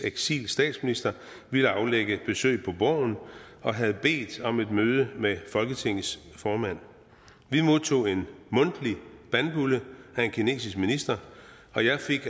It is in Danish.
eksilstatsminister ville aflægge et besøg på borgen og havde bedt om et møde med folketingets formand vi modtog en mundtlig bandbulle af en kinesisk minister og jeg fik